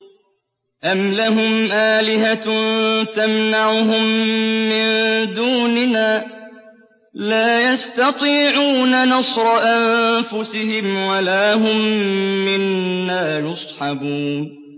أَمْ لَهُمْ آلِهَةٌ تَمْنَعُهُم مِّن دُونِنَا ۚ لَا يَسْتَطِيعُونَ نَصْرَ أَنفُسِهِمْ وَلَا هُم مِّنَّا يُصْحَبُونَ